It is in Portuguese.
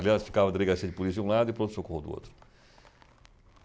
Aliás, ficava a delegacia de polícia de um lado e o pronto-socorro do outro.